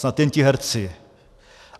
Snad jen ti herci.